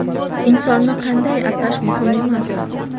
Insonni qanday atash muhim emas.